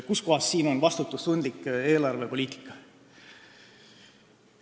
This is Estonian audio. Kuskohas on siin vastutustundlik eelarvepoliitika?